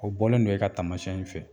O bɔlen don e ka tamasiɲɛ in fɛ.